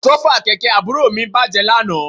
Àsọ́fà kẹ̀kẹ́ àbúrò mi bàjẹ́ lánàá